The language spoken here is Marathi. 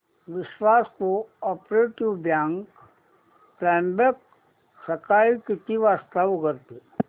विश्वास कोऑपरेटीव बँक त्र्यंबक सकाळी किती वाजता उघडते